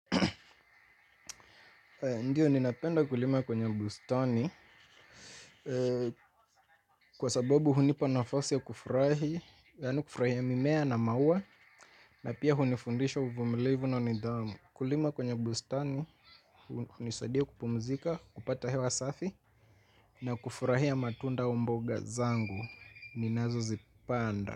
Ndiyo ninapenda kulima kwenye bustani. Kwa sababu hunipa nafasi ya kufurahi. Yani kufurahia mimea na maua. Na pia hunifundisha uvumilivu na nidhamu. Kulima kwenye bustani hunisadia kupumzika, kupata hewa safi. Na kufurahia matunda au mboga zangu ninazozipanda.